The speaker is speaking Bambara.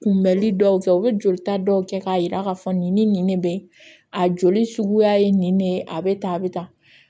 Kunbɛli dɔw kɛ u be jolita dɔw kɛ k'a yira k'a fɔ nin ni ne bɛ a joli suguya ye nin de ye a bɛ tan a bɛ tan